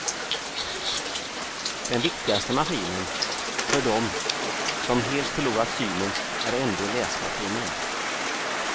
Den viktigaste maskinen för dem som helt förlorat synen är ändå läsmaskinen.